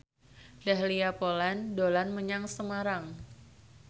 Dahlia Poland dolan menyang Semarang